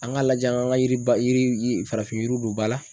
An k'a lajɛ an kan ka yiriba yiri farafin yiriw don bala.